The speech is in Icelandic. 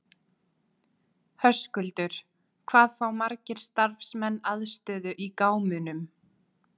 Höskuldur, hvað fá margir starfsmenn aðstöðu í gámunum?